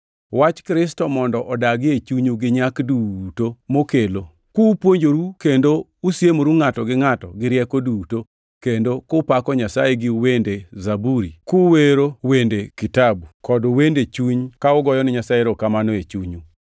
Wach Kristo mondo odagi e chunyu gi nyak duto mokelo, kupuonjoru kendo usiemoru ngʼato gi ngʼato gi rieko duto, kendo kupako Nyasaye gi wende zaburi kwero wende kitabu kod wende chuny ka ugoyo ni Nyasaye erokamano e chunyu.